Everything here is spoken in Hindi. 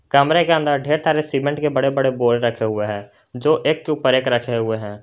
कमरे के अंदर ढेर सारे सीमेंट के बड़े बड़े बोरे रखे हुए है जो एक के ऊपर एक रखे हुए हैं।